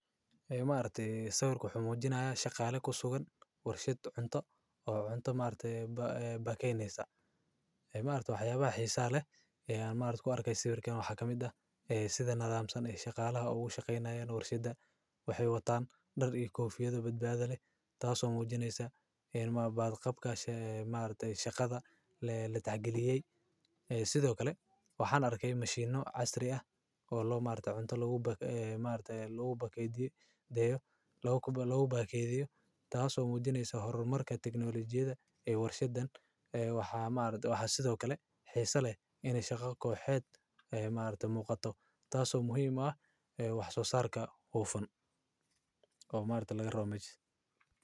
Ma arday sawirka xamuujinaya shaqaalay ku sugan warshad cunto oo cunto markeey ba bakaynaysa. Ma arday waxyaabaha xiisaa leh ee aan ma arko arkay sawirkana waxaa ka mid ah sida nala aamsan shaqaalaha ugu shaqeynaya in warshadda waxay wataan dheri koofiyadu badbaado leh taasoo muujinaysa in mabaab qabka ma arday shaqada la tacgeliyey sidoo kale waxaan arkay mashiino casri ah oo loo martay cunto laguu mahad leh laguu bakaydeyayo laogu bakaydeyso taasoo muujinaysa horumarka tiknoolajiyada ee warshaddan. Waxaa ma arday, waxaa sidoo kale xiiso leh in shakha koox heet ma arday muuqato. Taaso muhiim ah wax soo saarka huufan. Oo ma arday laga raamee.